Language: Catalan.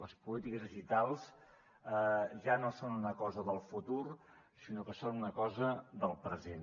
les polítiques digitals ja no són una cosa del futur sinó que són una cosa del present